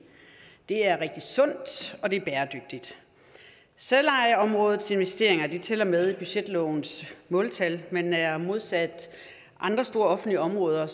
er rigtig sundt og det er bæredygtigt selvejeområdets investeringer tæller med i budgetlovens måltal men er modsat andre store offentlige områder